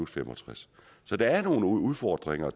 65 så der er nogle udfordringer